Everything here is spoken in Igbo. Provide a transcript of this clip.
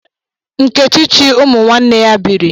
Nkechi chi umunwanne ya biri